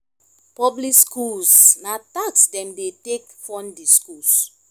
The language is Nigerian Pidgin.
public schools na tax dem dey take fund di schools